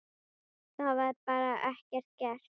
Það var bara ekki gert.